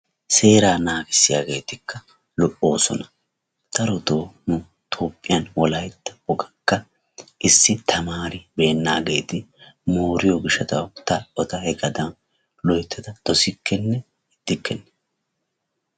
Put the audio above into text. Seeraa naagissiyaageetikka lo''osoona. Darotto nu toophiyaan Wolaytta woganikka issi tamaribeenageeti mooriyoo gishshataw eta hegadan loyttada dossikenne ixxikenne.